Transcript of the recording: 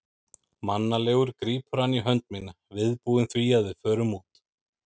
Mannalegur grípur hann í hönd mína, viðbúinn því að við förum út.